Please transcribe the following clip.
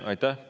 Aitäh!